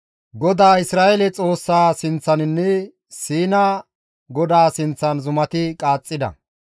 GODAA Isra7eele Xoossaa sinththaninne Siina GODAA sinththan zumati qaaxxida.